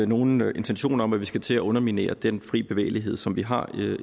nogen intentioner om at vi skal til at underminere den fri bevægelighed som vi har